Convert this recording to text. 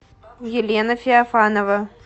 елена феофанова